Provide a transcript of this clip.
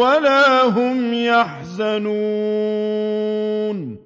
وَلَا هُمْ يَحْزَنُونَ